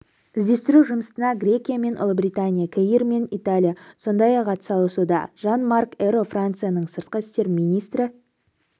іздестіру жұмыстарына грекия мен ұлыбритания кипр мен италия сондай-ақ атсалысуда жан-марк эро францияның сыртқы істер министрі